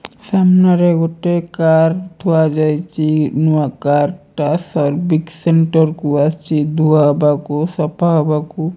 ସାମ୍ନାରେ ଗୋଟେ କାର୍ ଥୁଆଯାଇଚି ନୂଆ କାର୍ ଟା ସର୍ବିକ୍ ସେଣ୍ଟର୍ କୁ ଆସିଛି ଧୁଆ ହବାକୁ ସଫା ହବାକୁ।